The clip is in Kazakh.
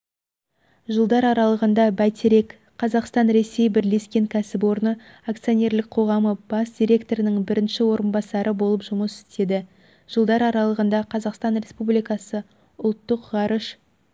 жылдар аралығында бәйтерек қазақстан-ресей бірлескен кәсіпорны акционерлік қоғамы бас директорының бірінші орынбасары болып жұмыс істеді жылдар аралығында қазақстан республикасы ұлттық ғарыш